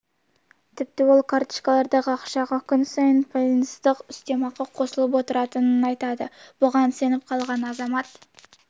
ұқсас жаңалықтар түркістан облысында мыңнан астам қару иелері тексерілді аграрлық университеттің профессорын өлтірген күдікті ұсталды ол